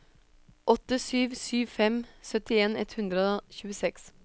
åtte sju sju fem syttien ett hundre og tjueseks